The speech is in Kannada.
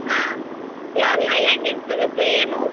ಹಾ ಹೆಂಗೆಂಗ್ ಸಿಗತ್ತೆ ಏನು.